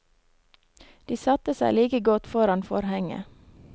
De satte seg like godt foran forhenget.